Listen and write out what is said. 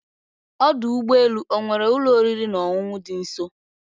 Ọdụ ụgbọ elu ọ nwere ụlọ oriri na ọṅụṅụ dị nso